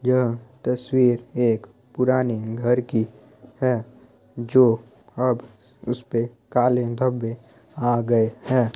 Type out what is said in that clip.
यह तस्वीर एक पुरानी घर की है जो अब उसपे काले धब्बे आ गए हैं।